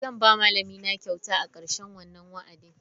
Zan ba malamina kyauta a karshen wannan wa'adin.